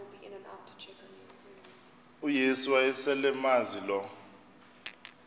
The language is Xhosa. uyesu wayeselemazi lo